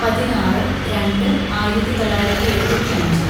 പതിനാറ് രണ്ട് ആയിരത്തിതൊള്ളായിരത്തി എഴുപത്തിയഞ്ച്‌